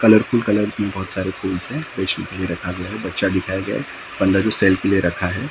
Colourful colours में बहुत फूल्स हैं बेचने के लिए रखा गया है बच्चा दिखाया गया है बंदा जो ले रखा है।